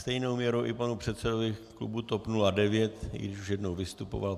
Stejnou měrou i panu předsedovi klubu TOP 09, i když už jednou vystupoval.